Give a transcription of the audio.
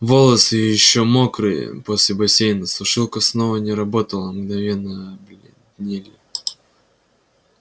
волосы ещё мокрые после бассейна сушилка снова не работала мгновенно обледенели